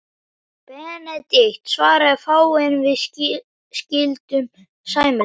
Benedikt svaraði fáu, en við skildum sæmilega.